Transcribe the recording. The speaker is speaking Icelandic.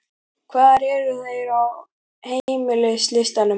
Hvar eru þeir á heimslistanum?